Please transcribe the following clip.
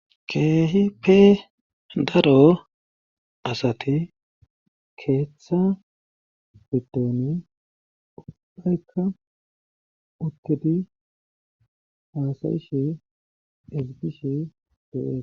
keehi pe daro asati keeththa biddooni ubbbhaykka utidi haasayishe esigishe dee